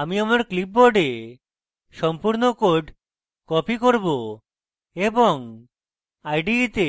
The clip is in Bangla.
আমি আমার clipboard সম্পূর্ণ code copy করব এবং ide তে